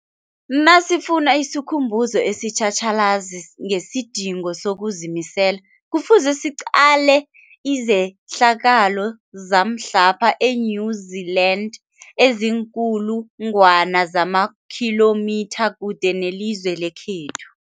Nasifuna isikhumbuzo esitjhatjhalazi ngesidingo sokuzimisela, Kufuze siqale izehlakalo zamhlapha e-New Zealand eziinkulu ngwana zamakhilomitha kude nelizwe lekhethu.